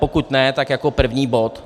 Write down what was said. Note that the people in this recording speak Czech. Pokud ne, tak jako první bod.